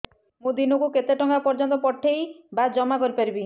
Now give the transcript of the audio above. ମୁ ଦିନକୁ କେତେ ଟଙ୍କା ପର୍ଯ୍ୟନ୍ତ ପଠେଇ ବା ଜମା କରି ପାରିବି